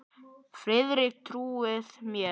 Færa allt úr stað.